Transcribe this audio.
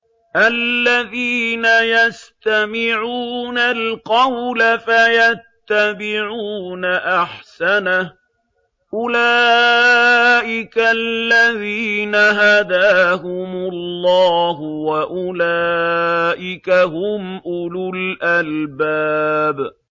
الَّذِينَ يَسْتَمِعُونَ الْقَوْلَ فَيَتَّبِعُونَ أَحْسَنَهُ ۚ أُولَٰئِكَ الَّذِينَ هَدَاهُمُ اللَّهُ ۖ وَأُولَٰئِكَ هُمْ أُولُو الْأَلْبَابِ